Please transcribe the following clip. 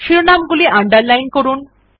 শিরনাম্ গুলি আন্ডারলাইন করুন